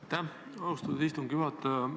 Aitäh, austatud istungi juhataja!